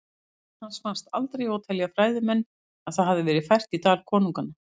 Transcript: Lík hans fannst aldrei og telja fræðimenn að það hafi verið fært í Dal konunganna.